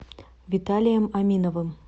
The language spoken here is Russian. виталием аминовым